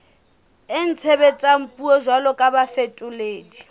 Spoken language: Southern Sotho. itshebetsang puong jwalo ka bafetoledi